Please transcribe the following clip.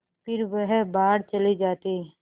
फिर वह बाहर चले जाते